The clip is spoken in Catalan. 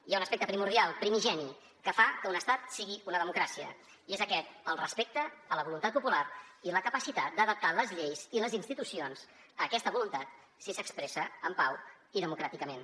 hi ha un aspecte primordial primigeni que fa que un estat sigui una democràcia i és aquest el respecte a la voluntat popular i la capacitat d’adaptar les lleis i les institucions a aquesta voluntat si s’expressa en pau i democràticament